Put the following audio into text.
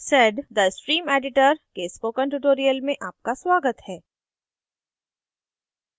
sedद stream editor के इस spoken tutorial में आपका स्वागत है